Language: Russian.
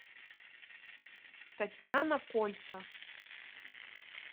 татьяна кольца